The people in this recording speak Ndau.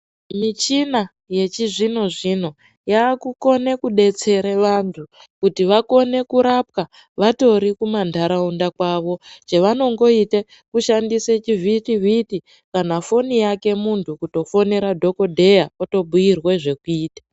Michina yechizvino-zvino yakukone kubetsere vantu kuti vakone kurapwa vatori kumanharaunda kwavo. Chavanongoite kushandise chivhitivhiti kana foni yake muntu kutofonere dhogodheya otobhuirwe zvekuita.